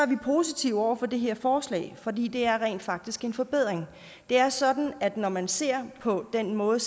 vi positive over for det her forslag fordi det rent faktisk er en forbedring det er sådan at når man ser på den måde